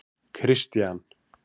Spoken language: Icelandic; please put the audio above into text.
Kristian